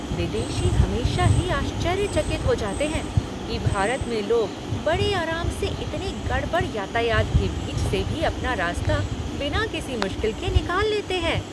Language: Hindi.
विदेशी हमेशा ही आश्चर्यचकित हो जाते है कि भारत में लोग बड़े आराम से इतने गड़बड़ यातायात के बीच से भी अपना रास्ता बिना किसी मुश्किल के निकाल लेते हैं।